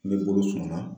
Ne bolo sɔngɔ la